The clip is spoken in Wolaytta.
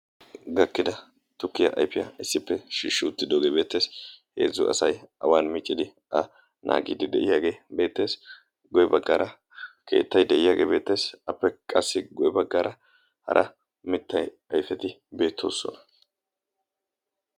Gakkida tukkiyaa ayfiyaa issippe shiishshuuttidoogee beetteesi heezzu asai awan miccidi a naagiidi de'iyaagee beetteesi guye baggaara keettay de'iyaagee beetteesi appe qassi goe baggaara hara mittay ayfeti beettoossona.